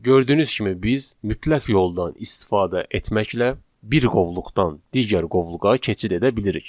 Gördüyünüz kimi biz mütləq yoldan istifadə etməklə bir qovluqdan digər qovluğa keçid edə bilirik.